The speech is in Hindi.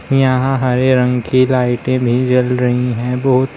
यहां हरे रंग की लाइटें भी जल रही हैं बहुत स--